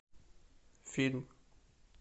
фильм